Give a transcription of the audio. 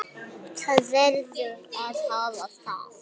Það verður að hafa það.